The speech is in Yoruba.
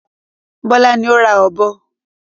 Bọ́lá ní o ra ọ̀bọ.